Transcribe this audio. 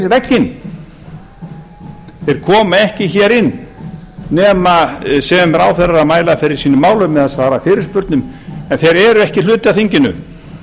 vegginn þeir koma ekki hér inn nema sem ráðherrar að mæla fyrir sínum málum eða svara fyrirspurnum en þeir eru ekki hluti af þinginu